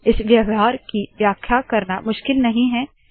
आई 126 इस व्यवहार की व्याख्या करना मुश्किल नहीं है